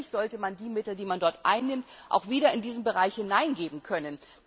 Natürlich sollte man die Mittel, die man dort einnimmt, auch wieder in diesen Bereich investieren können.